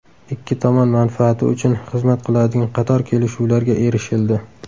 Ikki tomon manfaati uchun xizmat qiladigan qator kelishuvlarga erishildi.